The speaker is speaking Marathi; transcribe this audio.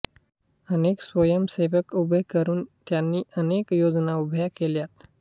अनेक स्वंयसेवक उभे करून त्यांनी अनेक योजना उभ्या केल्या